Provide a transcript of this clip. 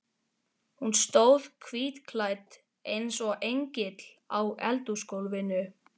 Hún stóð hvítklædd eins og engill á eldhúsgólfinu.